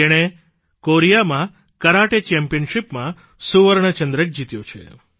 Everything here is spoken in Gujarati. જેણે કોરિયામાં કરાટે ચેમ્પિયનશિપમાં સુવર્ણચંદ્રક જીત્યો છે